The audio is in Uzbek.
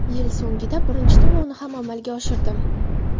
Yil so‘ngida birinchi to‘lovni ham amalga oshirdim.